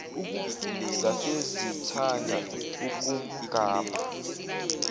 zase zithanda ukumgabha